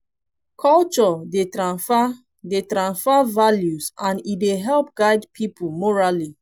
culture dey tranfer dey tranfer values and e dey help guide pipo morally